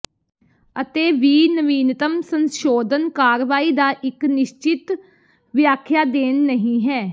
ਅਤੇ ਵੀ ਨਵੀਨਤਮ ਸੰਸ਼ੋਧਨ ਕਾਰਵਾਈ ਦਾ ਇੱਕ ਨਿਸ਼ਚਿਤ ਵਿਆਖਿਆ ਦੇਣ ਨਹੀ ਹੈ